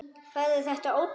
Færðu þetta ódýrt?